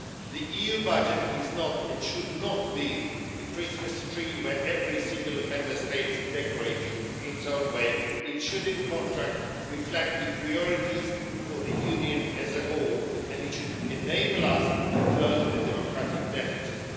The EU budget is not, it should not be, the Christmas tree which every single Member States is decorating in its own way. It should, in contrast, reflect the priorities for the Union as a whole and it should enable us to close the democratic deficit.